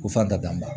Ko fan ka dan ma